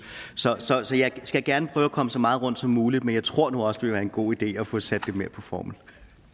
så jeg skal gerne prøve at komme så meget rundt som muligt men jeg tror nu også det vil være en god idé at få sat det mere på formel